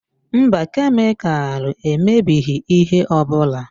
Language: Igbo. Mba, kemịkalụ emebighị ihe ọ bụla.